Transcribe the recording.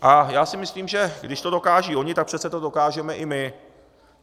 A já si myslím, že když to dokážou oni, tak přece to dokážeme i my.